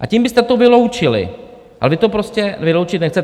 A tím byste to vyloučili, ale vy to prostě vyloučit nechcete.